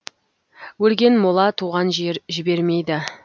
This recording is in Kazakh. өлген мола туған жер жібермейді